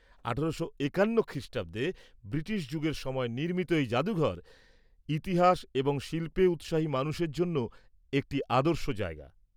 ১৮৫১ খ্রিষ্টাব্দে ব্রিটিশ যুগের সময় নির্মিত এই জাদুঘর, ইতিহাস এবং শিল্পে উৎসাহী মানুষের জন্য একটি আদর্শ জায়গা।